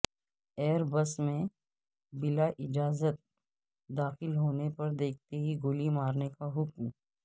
air base میں بلااجازت داخل ہونے پر دیکھتے ہی گولی مارنے کا حکم